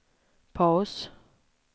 paus